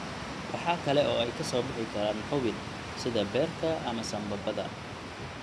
Waxa kale oo ay ka soo bixi karaan xubin, sida beerka ama sambabada.